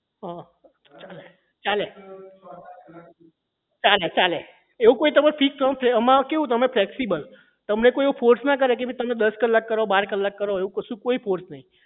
હા ચાલે ચાલે ચાલે એવું કઈ તમારે એમાં તમે flexible તમને કોઈ એવું force ના કરે કે તમે દસ કલાક કરો બાર કલાક કરો એવું કશું કોઈ force નહીં